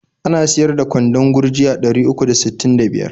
Ana siyar da kwandon gurji a ɗari uku da sittin da biyar.